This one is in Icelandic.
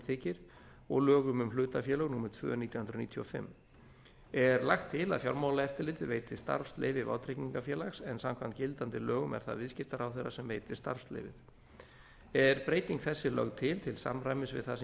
þykir og lögum um hlutafélög númer tvö nítján hundruð níutíu og fimm er lagt til að fjármálaeftirlitið veiti starfsleyfi vátryggingafélags en samkvæmt gildandi lögum er það viðskiptaráðherra sem veitir starfsleyfið er breyting þessi lögð til til samræmis við það sem